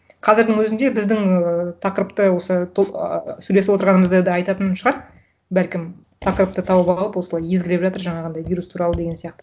қазірдің өзінде біздің ыыы тақырыпты осы ыыы сөйлесіп отырғанымызды да айтатын шығар бәлкім тақырыпты тауып алып осылай езгілеп жатыр жаңағындай вирус туралы деген сияқты